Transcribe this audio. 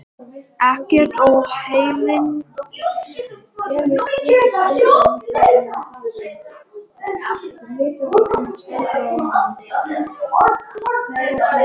Ekkert óheilnæmt á erindi í húsið.